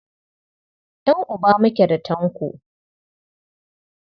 Ƴan'uba muke da Tanko.